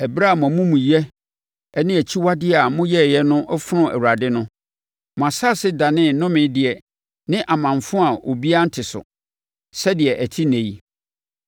Ɛberɛ a mo amumuyɛ ne akyiwadeɛ a moyɛeɛ no fonoo Awurade no, mo asase danee nnomedeɛ ne amanfo a obiara nte so, sɛdeɛ ɛte ɛnnɛ yi.